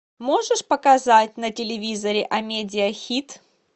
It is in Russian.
можешь показать на телевизоре амедиа хит